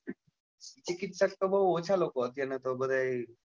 ચિકિત્સક તો બઉ ઓછા લોકો અત્યાર નાં તો બધાએ,